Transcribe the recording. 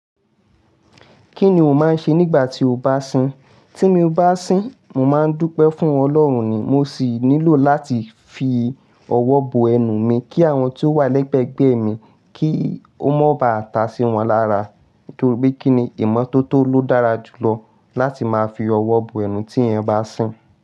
Kí ni o máa ń ṣe nígbà tí o bá sìn? Tí mo bá sìn, mo máa ń dúpẹ́ fún Ọlọ́run ni, mo sì nílò láti fi ọwọ́ bo ẹnu mi kí àwọn tí ó wà lẹ́gbẹ̀gbẹ́ mi kí ó má ba à ta sí wọn lára. Nítorí pé kíni ìmọ́tótó ló dára jùlọ láti máa fi ọwọ́ bo ẹnu tí ẹyan bá sìn.